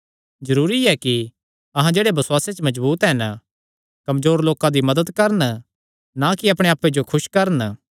जरूरी ऐ कि अहां जेह्ड़े बसुआसे च मजबूत हन कमजोर लोकां दी मदत करन ना कि अपणे आप्पे जो खुस करन